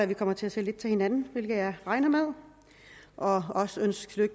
vi kommer til at se lidt til hinanden hvilket jeg regner med og også ønske